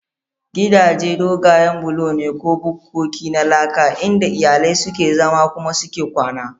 Gidaje dogayen bulo ne ko bukkoki na laka inda iyalai suke zama kuma suke kwana.